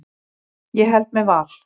Ég held með Val.